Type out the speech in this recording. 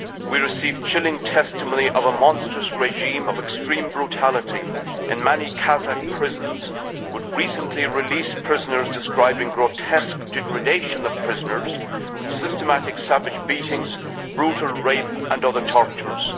We received chilling testimony of a monstrous regime of extreme brutality in many Kazakh prisons, with recently released prisoners describing grotesque degradation of prisoners and systematic savage beatings, brutal rape and other tortures.